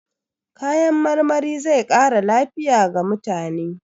Kayan marmari zai ƙara lafiya ga mutane.